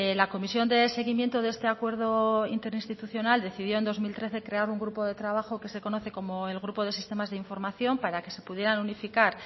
la comisión de seguimiento de este acuerdo interinstitucional decidió en dos mil trece crear un grupo de trabajo que se conoce como el grupo de sistemas de información para que se pudieran unificar